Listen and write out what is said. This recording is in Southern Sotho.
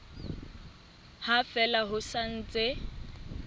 ha fela ho sa ntse